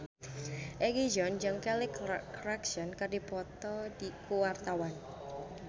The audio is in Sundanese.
Egi John jeung Kelly Clarkson keur dipoto ku wartawan